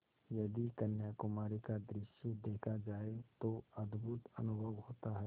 यदि कन्याकुमारी का दृश्य देखा जाए तो अद्भुत अनुभव होता है